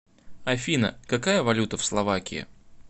афина какая валюта в словакии